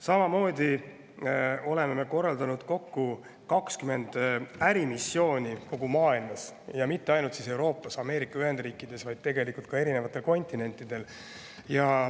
Samamoodi oleme korraldanud kokku 20 ärimissiooni kogu maailmas, mitte ainult Euroopas ja Ameerika Ühendriikides, vaid erinevatel kontinentidel.